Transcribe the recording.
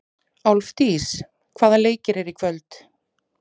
Álfdís, hvaða leikir eru í kvöld?